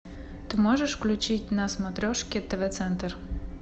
ты можешь включить на смотрешке тв центр